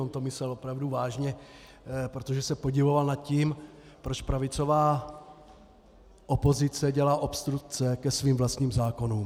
On to myslel opravdu vážně, protože se podivoval nad tím, proč pravicová opozice dělá obstrukce ke svým vlastním zákonům.